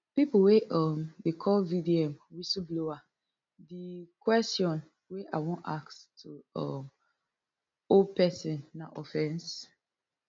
pipo wey um dey call vdm whistle blower di kwesion wey i wan ask to um owe pesin na offence